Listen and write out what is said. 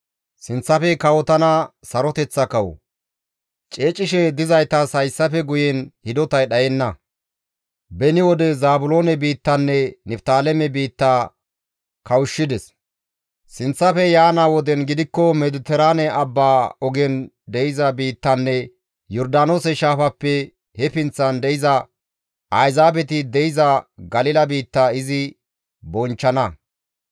Ceecishe dizaytas hayssafe guyen hidotay dhayenna; beni wode Zaabiloone biittanne Niftaaleme biitta kawushshides; sinththafe yaana woden gidikko Mediteraane abbaa ogen de7iza biittanne Yordaanoose Shaafappe he pinththan de7iza, «Ayzaabeti de7iza Galila biitta» izi bonchchana.